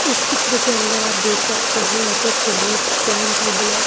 इस चित्र के अंदर आप देख सकते हैं S_ F_ sonic stand tubular--